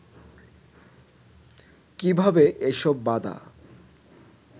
কীভাবে এসব বাধা